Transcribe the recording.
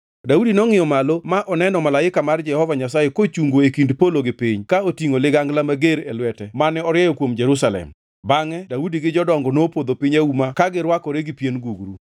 Daudi nongʼiyo malo ma oneno malaika mar Jehova Nyasaye kochungo e kind polo gi piny ka otingʼo ligangla mager e lwete mane orieyo kuom Jerusalem. Bangʼe Daudi gi jodongo nopodho piny auma ka girwakore gi pien gugru.